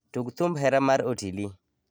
Tug thumb hera mar Otili